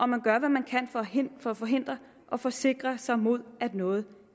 man gør hvad man kan for at forhindre og forsikre sig imod at noget